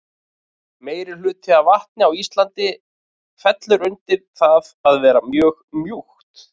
Meirihluti af vatni á Íslandi fellur undir það að vera mjög mjúkt.